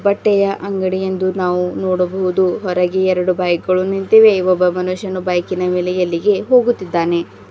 ಬಟ್ಟೆಯ ಅಂಗಡಿಯಂದು ನಾವು ನೋಡಬಹುದು ಹೊರಗೆ ಎರಡು ಬೈಕ್ ಗಳು ನಿಂತಿವೆ ಇಲ್ಲೊಬ್ಬ ಮನುಷ್ಯನು ಬೈಕಿನ ಮೇಲೆ ಎಲ್ಲಿಗೆ ಹೋಗುತ್ತಿದ್ದಾನೆ.